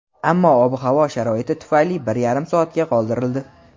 ammo ob-havo sharoiti tufayli bir yarim soatga qoldirildi.